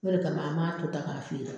O de kama an b'a to tan k'a feere.